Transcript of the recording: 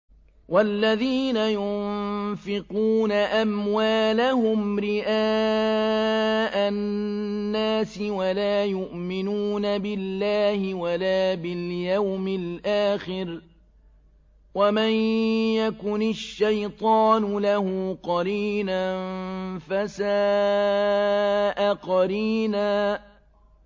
وَالَّذِينَ يُنفِقُونَ أَمْوَالَهُمْ رِئَاءَ النَّاسِ وَلَا يُؤْمِنُونَ بِاللَّهِ وَلَا بِالْيَوْمِ الْآخِرِ ۗ وَمَن يَكُنِ الشَّيْطَانُ لَهُ قَرِينًا فَسَاءَ قَرِينًا